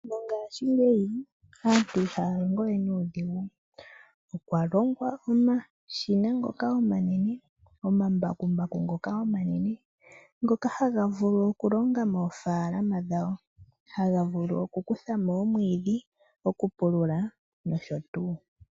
Mongashingeyi aantu ihaya longo we nuudhigu. Okwa longwa omashina ngoka omanene, omambakumbaku ngoka omanene ngoka haga vulu okulonga moofaalama dhawo haga vulu okukutha mo omwiidhi, okupulula nosho tuu.